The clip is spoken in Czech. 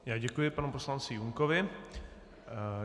Já děkuji panu poslanci Junkovi.